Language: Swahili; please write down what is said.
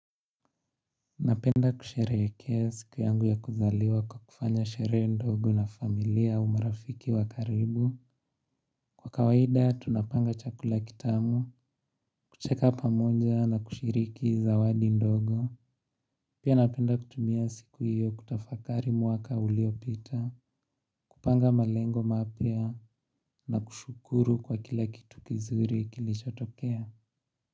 Napenda kusherehekea siku yangu ya kuzaliwa kwa kufanya sherehe ndogo na familia au marafiki wa karibu. Kwa kawaida tunapanga chakula kitamu, kucheka pamoja na kushiriki zawadi ndogo. Pia napenda kutumia siku hiyo kutafakari mwaka uliopita. Kupanga malengo mapya na kushukuru kwa kila kitu kizuri kilichotokea.